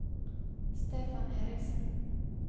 Stefan Eriksen